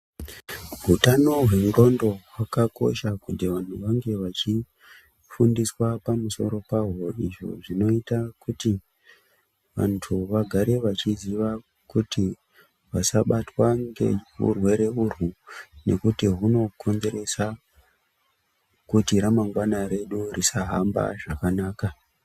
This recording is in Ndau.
Hutano hwengonxo hwakakosha kuti vantu vange veifundiswa pamusoro pahwo izvi zvinoita kuti vantu vagare vachiziva kuti vasabatwa ngerirwere urwu nekuti rwuno konzeresa kuti ramangwana redu risahamba zvakanaka.